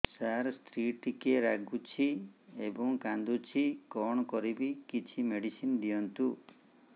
ସାର ସ୍ତ୍ରୀ ଟିକେ ରାଗୁଛି ଏବଂ କାନ୍ଦୁଛି କଣ କରିବି କିଛି ମେଡିସିନ ଦିଅନ୍ତୁ